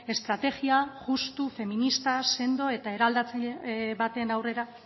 estrategia justu feminista sendo eta